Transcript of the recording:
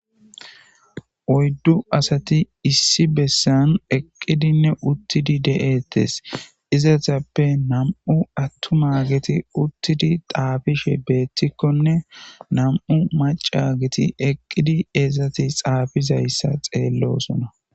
Oyddu asati issi bessan eqqidinne uttidi de'ettes izatappe nam'u attuma giti uttidi xaabishe beettikkonne nam'u maca giti eqqidi eezzati xaafizayssa xeellosona,